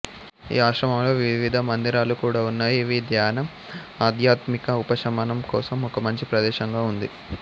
ఈ ఆశ్రమంలో వివిధ మందిరాలు కూడా ఉన్నాయి ఇవి ధ్యానం ఆధ్యాత్మిక ఉపశమనం కోసం ఒక మంచి ప్రదేశంగా ఉంది